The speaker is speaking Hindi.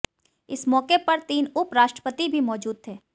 इस मौके पर तीन उप राष्ट्रपति भी मौजूद थे